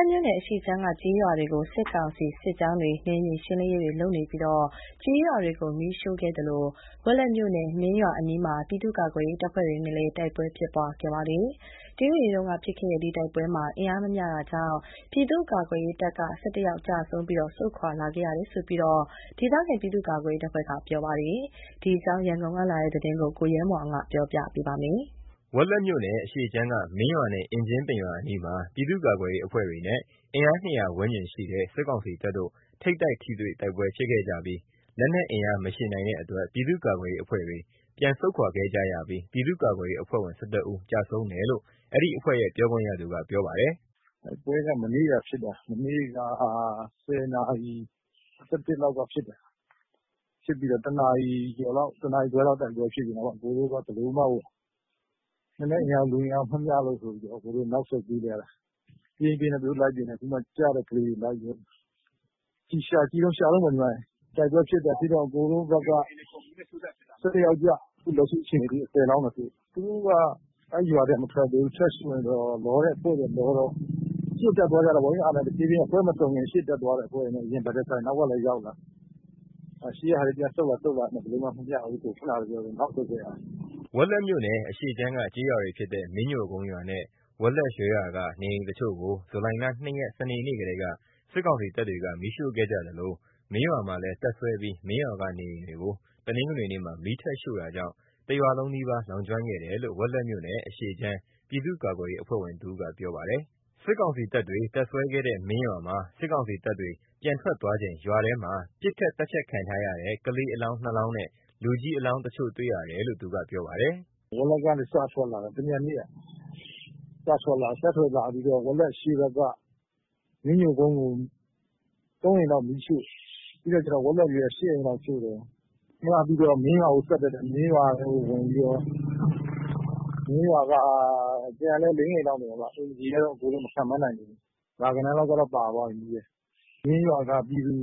က်မြို့နယ် အရှေ့ခြမ်းက ကျေးရွာတွေကို စစ်ကောင်စီစစ်ကြောင်းတွေ နယ်မြေရှင်းလင်းရေးတွေ လုပ်နေပြီး ကျေးရွာတွေကို မီးရှို့ခဲ့သလို ဝက်လက်မြို့နယ် မင်းရွာအနီးမှာ ပြည်သူ့ကာကွယ်ရေးအဖွဲ့တွေနဲ့ လည်း တိုက်ပွဲဖြစ်ပွားခဲ့ပါတယ်။ ဇူလိုင်လ ၃ ရက် တနင်္ဂနွေနေ့က ဖြစ်ခဲ့တဲ့ ဒီတိုက်ပွဲမှာ ပြည်သူ့ကာကွယ်ရေးတပ်က ၁၁ ဦး ကျဆုံးပြီး အင်အားမမျှတာကြောင့် ဆုတ်ခွာလာခဲ့ရတယ်လို့ ဒေသခံ ပြည်သူ့ကာကွယ်ရေး အဖွဲ့တွေက ပြောပါတယ်။ ဒီအကြောင်း ရန်ကုန်ကလာတဲ့သတင်းကို ကိုရဲမွန်အောင်က တင်ပြပါမယ်။ ဝက်လက်မြို့နယ် အရှေ့ခြမ်းက မင်းရွာနဲ့ အင်ကြင်းပင်ရွာ အနီးမှာ ပြည်သူ့ကာကွယ်ရေးအဖွဲ့တွေနဲ့ အင်အား ၂၀၀ ဝန်းကျင်ရှိတဲ့ စစ်ကောင်စီတပ်တို့ ဇူလိုင်လ ၃ ရက်က ထိပ်တိုက် ထိတွေ့တိုက်ပွဲ ဖြစ်ခဲ့ကြပါတယ်။ လက်နက်အင်အား မယှဉ်နိုင်တဲ့အတွက် ပြည်သူ့ကာကွယ်ရေးအဖွဲ့တွေ ပြန်ဆုတ်ခွာခဲ့ကြရပြီး အဖွဲ့ဝင် ၁၁ ဦးကျဆုံးတယ်လို့ ပြောခွင့်ရသူက ပြောပါတယ်။ “တိုက်ပွဲက မနေ့က ဖြစ်တာ မနေ့က ၁၀ နာရီ ၁၁ လောက်က ဖြစ်တာ။ ဖြစ်ပြီးတော့ ၁ နာရီကျော်လောက် ၁ နာရီခွဲလောက် တိုက်ပွဲဖြစ်ပြီးတော့ ကျွန်တော်တို့က ဘယ်လိုမှကို လက်နက်အင်အား လူအင်အားမမျှလို့ဆိုပြီးတော့ နောက်ဆုတ်ပေးလိုက်ရတာ။ ပြေးရင်းပြေးရင်းနဲ့ သူတို့ကလည်း လိုက်ပစ်ရင်းနဲ့ အခုမှ ကျတဲ့ကလေးတွေကို ရှာနေတုန်းပေါ့။ တိုက်ပွဲဖြစ်တော့ ကျွန်တော်တို့ဖက်က ၁၁ ယောက်ကျတယ်။ အခုလက်ရှိ အခြေအနေထိ ၁၀ လောင်းတော့ တွေ့ပြီ။ သူတို့တွေက ရွာကမထွက်သေးဘဲ မင်းရွာကို မီးထပ်ရှို့နေတော့ လောတဲ့အဖွဲ့တွေက လောတော့ အဖွဲ့မစုံခင် ရှေ့တက်သွားကြတော့ အရင်တွေ့ကြတော့ နောက်ကတက်လာ၊ ရှေ့ကလူတွေကလည်းပြန်ဆုတ်လာ ဘယ်လိုမှ အင်အားမမျှ ဘူးဆိုတော့ နောက်ဆုတ်ခဲ့ရတယ်။” ဝက်လက်မြို့နယ် အရှေ့ခြမ်းက ကျေးရွာတွေဖြစ်တဲ့ မင်းညိုကုန်းရွာနဲ့ ဝက်လက်ရွှဲရွာက နေအိမ်တချို့ကို ဇူလိုင်လ ၂ ရက် စနေနေ့ကတည်းက စစ်ကောင်စီတပ်တွေက မီးရှိုခဲ့ကြသလို၊ မင်းရွာမှာလည်း တပ်စွဲပြီး မင်းရွာက နေအိမ်တွေကို တနဂ်နွေနေ့မှာ မီးထပ်ရှို့တာကြောင့် တစ်ရွာလုံးနီးပါး လောင်ကျွမ်းခဲ့တယ်လို့ ဝက်လက်မြို့နယ် အရှေ့ခြမ်း ပြည်သူ့ကာကွယ်ရေး အဖွဲ့ဝင်တစ်ဦးက ပြောပါတယ်။ စစ်ကောင်စီတပ်တွေ တပ်စွဲခဲ့တဲ့ မင်းရွာမှာ စစ်ကောင်စီတပ်တွေ ပြန်ထွက်သွားချိန် ရွာထဲမှာ ပစ်ခတ်သတ်ဖြတ်ခံထားရတဲ့ ကလေး အလောင်း ၂ လောင်းနဲ့ လူကြီးအလောင်းတချို့ တွေ့ရတယ်လို့ သူက ပြောပြပါတယ်။ “ဝက်လက်ကနေ စထွက်လာတာ တမြန်နေ့က။ စထွက်လာပြီးတော့ ဝက်လက် အရှေ့ဖက်က မင်းညိုကုန်းကို ၃ အိမ်လောက်မီးရှို့။ ပြီးတော့ ဝက်လက်ရွှဲက ၈ အိမ်လောက်ရှို့တယ်။ အဲ့ကပြီးတော့ မင်းရွာကို ဆက်တက်တယ်။ မင်းရွာက အိမ်တွေထပ်ရှို့တယ်။ အိမ်ခြေတော့ မခန့်မှန်းနိုင်သေးဘူး။ ရာဂဏန်းလောက်ကတော့ ပါသွားပြီမီးထဲ။ မင်းရွာက ပြည်သူ